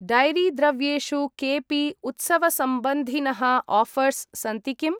Dairy द्रव्येषु केऽपि उत्सवसम्बन्धिनः आऴर्स् सन्ति किम्?